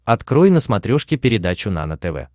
открой на смотрешке передачу нано тв